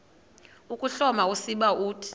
ukuhloma usiba uthi